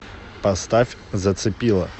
поставь зацепила